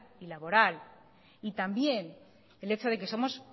y laboral y también el hecho de que somos